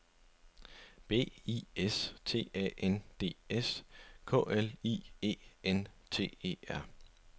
B I S T A N D S K L I E N T E R